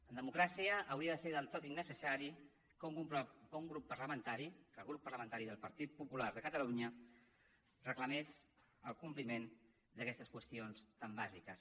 en democràcia hauria de ser del tot innecessari que un grup parlamentari que el grup parlamentari del partit popular de catalunya reclamés el compliment d’aquestes qüestions tan bàsiques